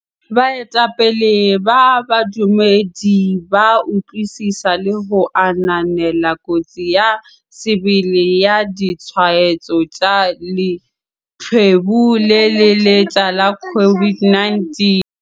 Baetapele ba badumedi ba utlwisisa le ho ananela kotsi ya sebele ya ditshwaetso tsa leqhubu le le letjha la COVID-19.